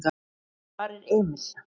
Hvar er Emil?